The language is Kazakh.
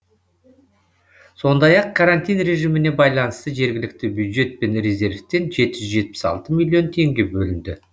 сондай ақ карантин режиміне байланысты жергілікті бюджет пен резервтен жеті жүз жетпіс алты миллион теңге бөлінді